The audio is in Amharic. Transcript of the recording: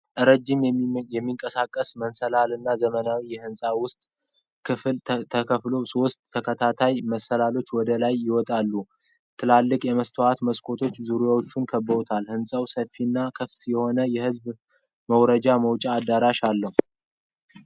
ረዥም የሚንቀሳቀስ መሰላል በዘመናዊ የሕንፃ ውስጥ ክፍል ተተክሏል። ሦስት ተከታታይ መሰላሎች ወደ ላይ ይወጣሉ። ትላልቅ የመስታወት መስኮቶች ዙሪያውን ከበውታል። ሕንፃው ሰፊና ክፍት የሆነ የሕዝብ መውረጃና መውጫ አዳራሽ አለው።